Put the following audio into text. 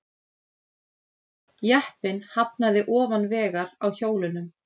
Jeppinn hafnaði ofan vegar á hjólunum